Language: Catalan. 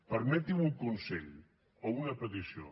permeti’m un consell o una petició